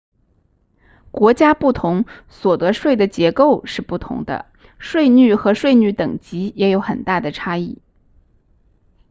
国家不同所得税的结构是不同的税率和税率等级也有很大的差异